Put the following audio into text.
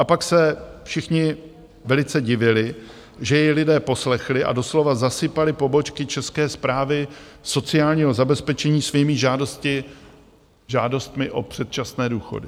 A pak se všichni velice divili, že jej lidé poslechli a doslova zasypali pobočky České správy sociálního zabezpečení svými žádostmi o předčasné důchody.